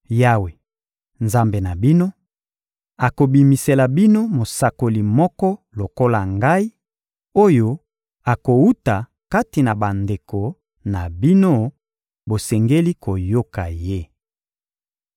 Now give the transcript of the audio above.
Yawe, Nzambe na bino, akobimisela bino mosakoli moko lokola ngai, oyo akowuta kati na bandeko na bino; bosengeli koyoka ye.